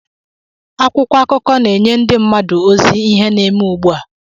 Akwụkwọ akụkọ na-enye ndi mmadu ozi ihe na-eme ugbu a.